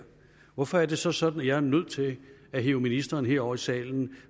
hvorfor er det så sådan at jeg er nødt til at hive ministeren herover i salen